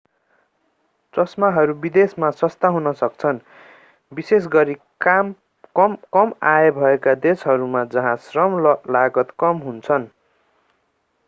चश्माहरू विदेशमा सस्ता हुन सक्छन् विशेषगरी कम आय भएका देशहरूमा जहाँ श्रम लागत कम हुन्छन्